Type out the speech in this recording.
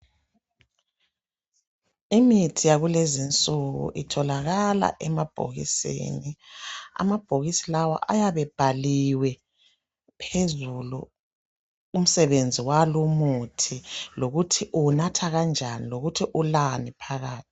Imithi yakulezi insuku itholakala emabhokisini amabhokisi lawa ayabe ebhaliwe phezulu umsebenzi walumuthi lokuthi uwunatha kanjani lokuthi ulani phakathi